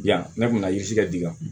Yan ne kun ka ji kɛ dika